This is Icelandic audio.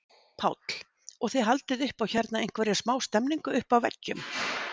Páll: Og þið haldið upp á hérna einhverja smá stemningu uppi á veggjum?